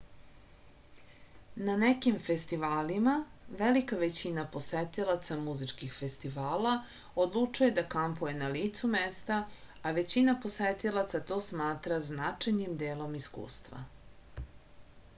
na nekim festivalima velika većina posetilaca muzičkih festivala odlučuje da kampuje na licu mesta a većina posetilaca to smatra značajnim delom iskustva